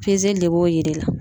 Pezeli de b'o yir'i la